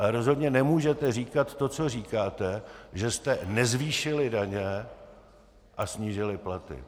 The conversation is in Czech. Ale rozhodně nemůžete říkat to, co říkáte, že jste nezvýšili daně a snížili platy.